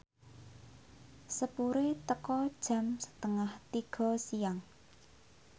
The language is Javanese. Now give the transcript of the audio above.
sepure teka jam setengah tiga siang